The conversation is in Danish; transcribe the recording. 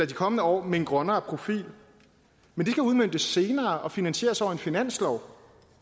de kommende år med en grønnere profil men det kan udmøntes senere og finansieres over en finanslov